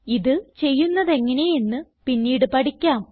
ഇത് ചെയ്യുന്നതെങ്ങനെയെന്ന് പിന്നീട് പഠിക്കാം